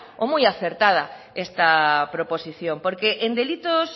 o muy acertada esta proposición porque en delitos